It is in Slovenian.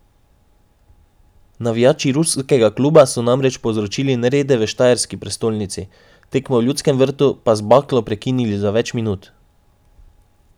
Navijači ruskega kluba so namreč povzročili nerede v štajerski prestolnici, tekmo v Ljudskem vrtu pa z baklo prekinili za več minut.